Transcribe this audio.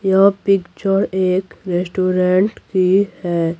यह पिक्चर एक रेस्टोरेंट की है।